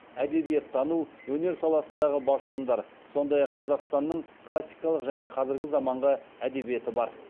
әдебиеттану өнер саласындағы басылымдар сондай ақ қазақстанның классикалық және қазіргі заманғы әдебиеті бар